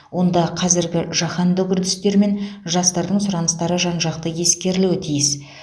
онда қазіргі жаһандық үрдістер мен жастардың сұраныстары жан жақты ескерілуі тиіс